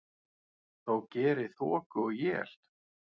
þó geri þoku og él.